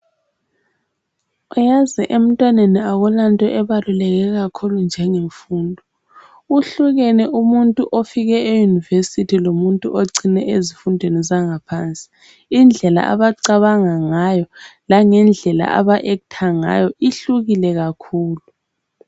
Uyazi emntwaneni akulanto ebaluleke kakhulu njenge mfundo, kuhlukene umuntu ofike eUniversity lomuntu ocine ezifundweni zanga phansi, indlela abacabanga ngayo langendlela aba "actor" ngayo ihlukile kakhulu.